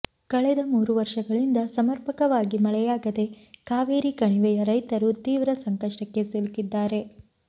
ಕಳೆದ ಮೂರು ವರ್ಷಗಳಿಂದ ಸಮರ್ಪಕವಾಗಿ ಮಳೆಯಾಗದೆ ಕಾವೇರಿ ಕಣಿವೆಯ ರೈತರು ತೀವ್ರ ಸಂಕಷ್ಟಕ್ಕೆ ಸಿಲುಕಿದ್ದಾರೆ